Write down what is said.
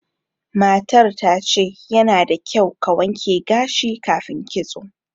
Matar ta ce, yana da kyau ka wanke gashi kafin kitso.